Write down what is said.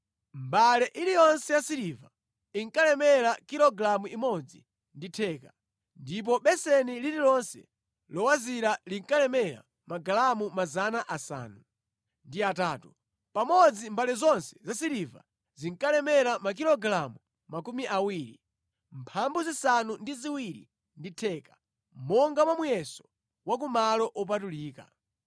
Mbale iliyonse yasiliva inkalemera kilogalamu imodzi ndi theka, ndipo beseni lililonse lowazira linkalemera magalamu 800. Pamodzi, mbale zonse zasiliva zinkalemera makilogalamu 27 monga mwa muyeso wa ku malo opatulika.